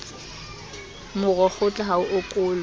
moro kgotla ha o okolwe